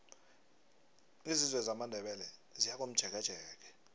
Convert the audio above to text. isizwe samandebele siyakomjekejeke